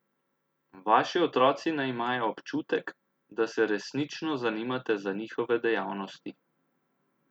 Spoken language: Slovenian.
Vaši otroci naj imajo občutek, da se resnično zanimate za njihove dejavnosti.